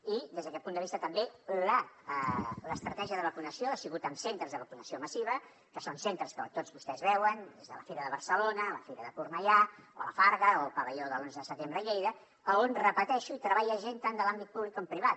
i des d’aquest punt de vista també l’estratègia de vacunació ha sigut amb centres de vacunació massiva que són centres que tots vostès veuen des de la fira de barcelona la fira de cornellà o la farga o el pavelló de l’onze de setembre a lleida a on ho repeteixo hi treballa gent tant de l’àmbit públic com privat